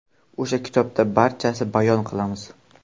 O‘sha kitobda barchasini bayon qilamiz.